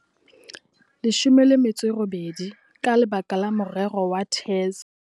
18 ka lebaka la morero wa TERS.